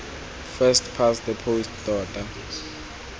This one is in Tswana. first past the post tota